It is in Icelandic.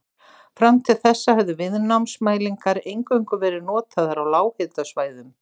Fram til þessa höfðu viðnámsmælingar eingöngu verið notaðar á lághitasvæðum.